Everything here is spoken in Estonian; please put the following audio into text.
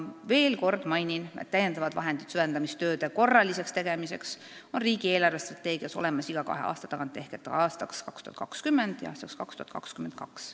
Veel kord mainin, et lisavahendid süvendamistööde korraliseks tegemiseks on riigi eelarvestrateegias olemas iga kahe aasta tagant ehk aastaks 2020 ja aastaks 2022.